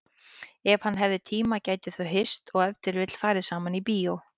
Ef hann hefði tíma gætu þau hist og ef til vill farið saman í bíó.